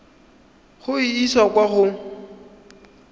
go e isa kwa go